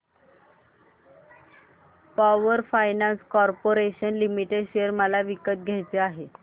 power finance corporation limited share मला विकत घ्यायचे आहेत